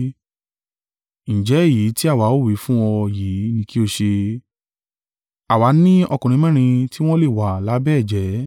Ǹjẹ́ èyí tí àwa ó wí fún ọ yìí ni kí o ṣe, àwa ni ọkùnrin mẹ́rin tí wọ́n wà lábẹ́ ẹ̀jẹ́.